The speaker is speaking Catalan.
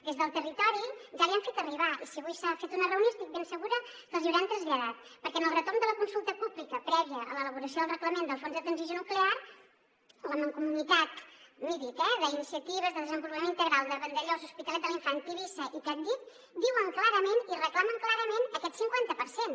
des del territori ja li han fet arribar i si avui s’ha fet una reunió estic ben segura que els hi deuen haver traslladat perquè en el retorn de la consulta pública prèvia a l’elaboració del reglament del fons de transició nuclear la mancomunitat midit eh d’iniciatives pel desenvolupament integral del territori de vandellòs l’hospitalet de l’infant tivissa i pratdip diuen clarament i reclamen clarament aquest cinquanta per cent